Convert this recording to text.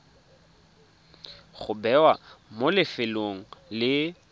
go bewa mo lefelong le